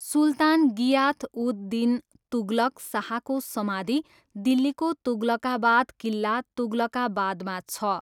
सुल्तान गियाथ उद दिन तुगलक शाहको समाधि दिल्लीको तुगलकाबाद किल्ला, तुगलकाबादमा छ।